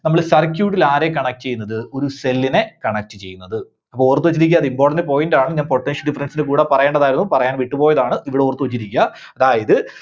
നമ്മള് circuit ല് ആരെ connect ചെയ്യുന്നത്? ഒരു cell നെ connect ചെയ്യുന്നത്. ഓർത്തുവെച്ചിരിക്കുക important point ആണ് ഞാൻ potential difference ന്റെ കൂടെ പറയണ്ടതായിരുന്നു. പറയാൻ വിട്ടുപോയതാണ്. ഇവിടെ ഓർത്തുവെച്ചിരിക്കുക. അതായത്